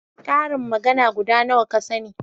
ƙarin magana guda nawa ka sani?